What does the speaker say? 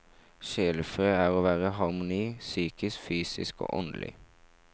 Sjelefred er å være i harmoni, psykisk, fysisk og åndelig.